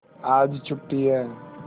आज छुट्टी है